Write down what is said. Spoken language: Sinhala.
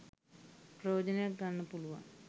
ප්‍රයෝජනයක් ගන්න පුළුවන්